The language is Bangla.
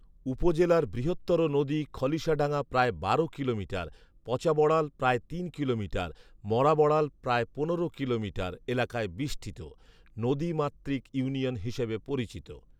উপজেলার বৃহত্তর নদী খলিশাডাঙ্গা প্রায় বারো কিলোমিটার, পচা বড়াল প্রায় তিন কিলোমিটার, মরা বড়াল প্রায় পনেরো কিলোমিটার এলাকায় বেষ্টিত, নদী মাতৃক ইউনিয়ন হিসাবে পরিচিত